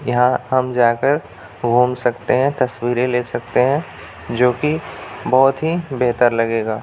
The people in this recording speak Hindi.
यहाँ हम जाकर घूम सकते है तस्वीरे ले सकते हैं जो की बहुत ही बेहतर लगेगा ।